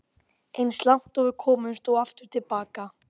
Eins langt og við komumst og aftur til baka.